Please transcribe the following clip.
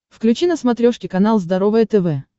включи на смотрешке канал здоровое тв